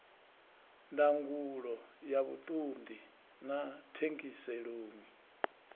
ndangulo ya vhuṱundi na thengiselonn